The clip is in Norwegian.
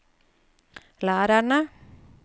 lærerne